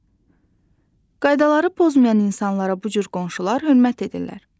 Qaydaları pozmayan insanlara bu cür qonşular hörmət edirlər.